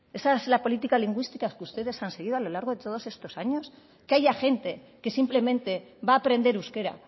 esa es la política lingüística que ustedes han seguido a lo largo de todos estos años que haya gente que simplemente va a aprender euskera